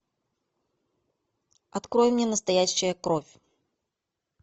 открой мне настоящая кровь